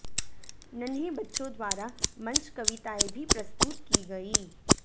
नन्हे बच्चों द्वारा मंच कविताएं भी प्रस्तुत की गईं